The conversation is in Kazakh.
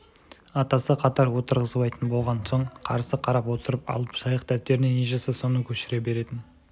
атасы қатар отырғызбайтын болған соң қарсы қарап отырып алып жайық дөптеріне не жазса соны көшіре беретін